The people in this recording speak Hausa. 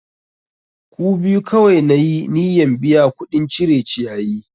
Ku biyu kawai na yi niyyan biya kuɗin cire ciyayi!